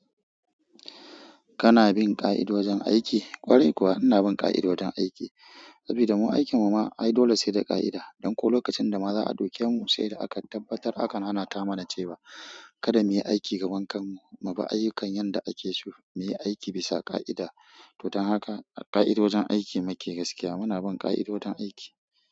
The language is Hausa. Kana bin ƙa'idojin aiki? Ƙwarai kuwa ina bin ƙa'idojin aiki. Saboda mu aikin muma ai dole sai da ƙa'ida. Danko lokacin dama za'a ɗauke mu sai da aka tabbatar aka nanata mana cewa kada muyi aiki gaban kan mmu. Mibi ayyukan yanda ake so, muyi aiki bisa ƙa'ida. To don haka ƙa'idojin aiki muke gaskiya muna bin ƙa'idojin aiki.